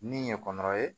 Min ye kɔrɔ ye